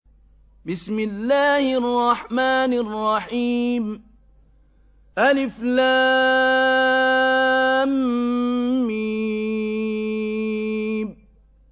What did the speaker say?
الم